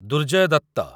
Durjay Dutt